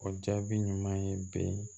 O jaabi ɲuman ye bi